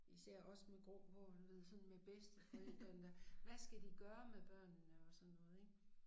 Især os med grå hår og du ved sådan med bedsteforældrene der hvad skal de gøre med børnene og sådan noget ik